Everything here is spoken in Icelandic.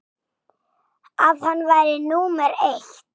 að hann væri númer eitt.